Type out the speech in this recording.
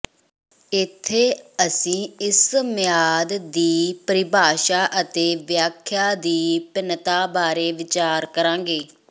ਇੱਥੇ ਅਸੀਂ ਇਸ ਮਿਆਦ ਦੀ ਪਰਿਭਾਸ਼ਾ ਅਤੇ ਵਿਆਖਿਆ ਦੀ ਭਿੰਨਤਾ ਬਾਰੇ ਵਿਚਾਰ ਕਰਾਂਗੇ